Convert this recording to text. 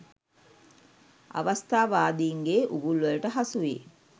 අවස්ථාවාදීන්ගේ උගුල්වලට හසු වී